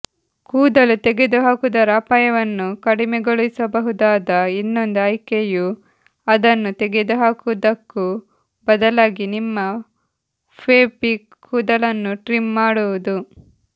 ಕೂದಲು ತೆಗೆದುಹಾಕುವುದರ ಅಪಾಯವನ್ನು ಕಡಿಮೆಗೊಳಿಸಬಹುದಾದ ಇನ್ನೊಂದು ಆಯ್ಕೆಯು ಅದನ್ನು ತೆಗೆದುಹಾಕುವುದಕ್ಕೂ ಬದಲಾಗಿ ನಿಮ್ಮ ಪೆಬಿಕ್ ಕೂದಲನ್ನು ಟ್ರಿಮ್ ಮಾಡುವುದು